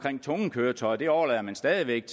tunge køretøjer overlader man stadig væk